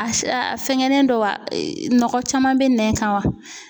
A a fɛnkɛnen don wa nɔgɔ caman bɛ nɛn kan wa?